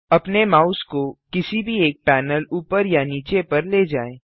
अपने माउस को किसी भी एक पैनल ऊपर या नीचे पर ले जाएँ